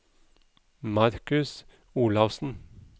Markus Olaussen